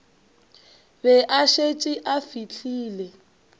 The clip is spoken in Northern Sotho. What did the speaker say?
be a šetše a fihlile